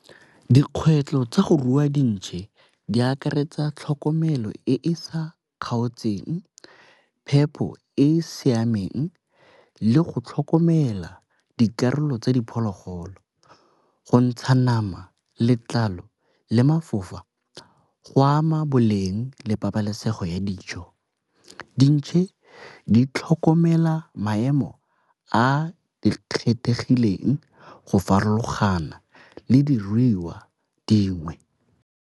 Dikgwetlho tsa go rua dintšhe di akaretsa tlhokomelo e e sa kgaotseng, phepho e e siameng, le go tlhokomela dikarolo tsa diphologolo. Go ntsha nama letlalo le mafafa go ama boleng le pabalesego ya dijo dintšhe di tlhokomela maemo a di kgethegileng go farologana le diruiwa dingwe.